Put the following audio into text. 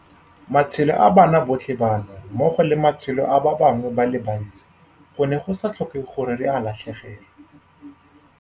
Matshelo a bana botlhe bano, mmogo le matshelo a ba bangwe ba le bantsi, gone go sa tlhokege gore re a latlhegelwe.